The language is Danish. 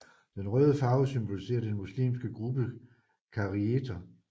Den røde farve symboliserer den muslimske gruppe kharijiter